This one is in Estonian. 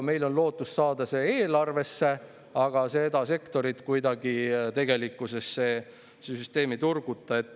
Meil on küll lootust saada see raha eelarvesse, aga seda sektorit kuidagi tegelikkuses see süsteem ei turguta.